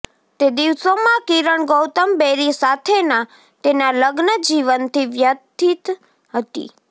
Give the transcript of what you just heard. તે દિવસોમાં કિરણ ગૌતમ બેરી સાથેના તેના લગ્ન જીવનથી વ્યથિત હતી